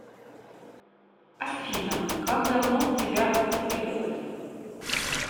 афина как давно тебя активировали